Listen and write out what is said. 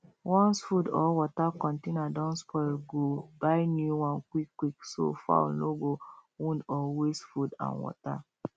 once food or water container don spoil go buy new one quick quick so fowl no go wound or waste food and water